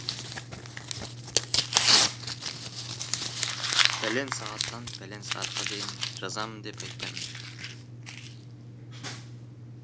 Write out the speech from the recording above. пәлен сағаттан пәлен сағатқа дейін жазамын деп айтпаймын